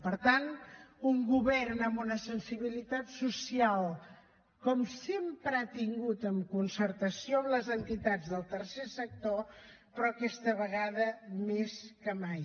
per tant un govern amb una sensibilitat social com sempre n’ha tingut en concertació amb les entitats del tercer sector però aquesta vegada més que mai